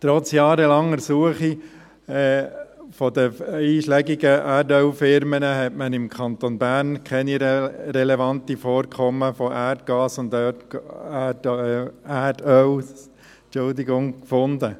Trotz jahrelanger Suche durch die einschlägigen Erdölfirmen wurden im Kanton Bern keine relevanten Vorkommen von Erdgas oder Erdöl gefunden.